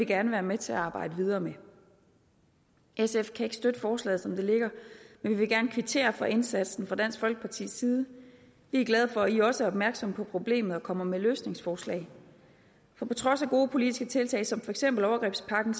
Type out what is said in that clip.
gerne være med til at arbejde videre med sf kan ikke støtte forslaget som det ligger men vi vil gerne kvittere for indsatsen fra dansk folkepartis side vi er glade for at i også er opmærksom på problemet og kommer med løsningsforslag for på trods af gode politiske tiltag som for eksempel overgrebspakken